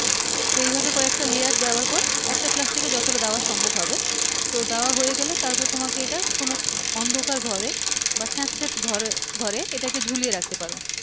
তো এইভাবে কয়েকটা layer দেয়ার পর একটা plastic এ যতটা দেওয়া সম্ভব হবে তো দেওয়া হয়ে গেলে তারপর তোমাকে এইটা কোনো অন্ধকার ঘরে বা স্যাঁতসেঁতে ঘরে এইটাকে ঝুলিয়ে রাখতে পারো